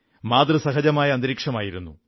മാതൃസഹജമായ സ്നേഹത്തിന്റെ അന്തരീക്ഷമായിരുന്നു